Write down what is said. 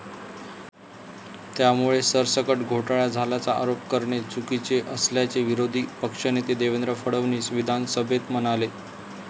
त्यामुळे सरसकट घोटळा झाल्याचा आरोप करणे चुकीचे असल्याचे विरोधी पक्षनेते देवेंद्र फडणवीस विधानभेत म्हणाले.